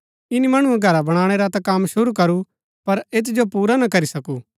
ईनी मणुऐ घरा बणाणै रा ता कम शुरू करू पर ऐत जो पुरा ना करी सकू